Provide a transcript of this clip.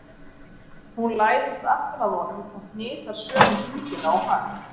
Hún læðist aftan að honum og hnitar sömu hringina og hann.